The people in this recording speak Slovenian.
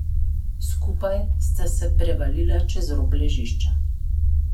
Skupaj sta se prevalila čez rob ležišča.